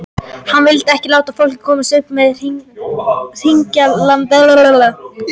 Hann vildi ekki láta fólk komast upp með hringlandahátt í samtali.